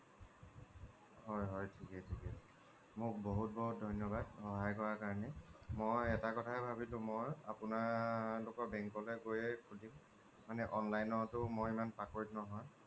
হয় হয় ঠিকে ঠিকে মোক বহুত বহুত ধন্যবাদ সহায় কৰা বাবে মই এটা কথাই ভাবিলো মই আপোনালোকৰ bank লৈ গৈয়ে খোলিম মানে online তয়ো মই ইমান পাকৈত নহয়